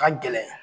Ka gɛlɛn